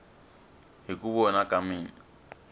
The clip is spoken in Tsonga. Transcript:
hi ku vona ka mina